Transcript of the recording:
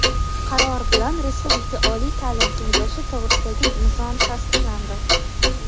Qaror bilan Respublika oliy taʼlim kengashi to‘g‘risidagi nizom tasdiqlandi.